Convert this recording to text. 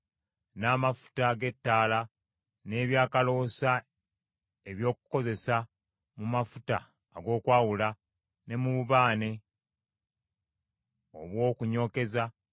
n’amafuta g’ettaala, n’ebyakaloosa eby’okukozesa mu mafuta ag’okwawula, ne mu bubaane obw’okunyookeza,